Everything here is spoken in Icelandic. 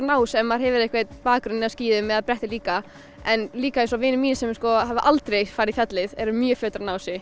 ná þessu ef maður hefur einhver bakgrunn á skíðum eða bretti líka en líka eins og vinir mínir sem hafa aldrei farið í fjallið eru mjög fljótir að ná þessu